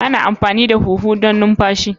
Ana amfani da huhu don numfashi.